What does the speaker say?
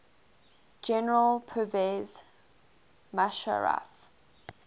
general pervez musharraf